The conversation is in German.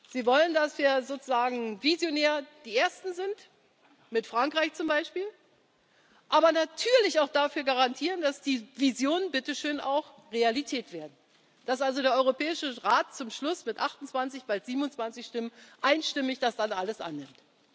Sie wollen, dass wir sozusagen visionär die Ersten sind, mit Frankreich zum Beispiel, aber natürlich auch dafür garantieren, dass die Visionen bitte schön auch Realität werden, dass also der Europäische Rat zum Schluss mit 28, bald 27 Stimmen einstimmig das dann alles annimmt.